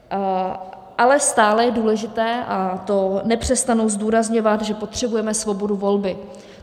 Ale stále je důležité, a to nepřestanu zdůrazňovat, že potřebujeme svobodu volby.